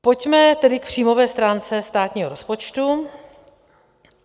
Pojďme tedy k příjmové stránce státního rozpočtu.